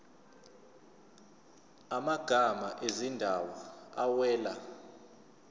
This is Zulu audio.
amagama ezindawo awela